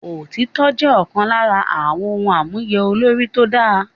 Òtítọ́ jẹ́ ọ̀kan nínú àwọn ohun àmúyẹ olórí tó dáa